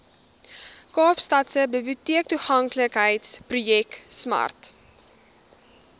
kaapstadse biblioteektoeganklikheidsprojek smart